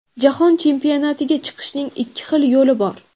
"Jahon chempionatiga chiqishning ikki xil yo‘li bor".